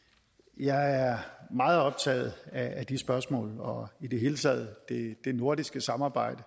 jeg er meget optaget af de spørgsmål og i det hele taget det nordiske samarbejde